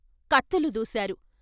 కత్తులు దూశారు.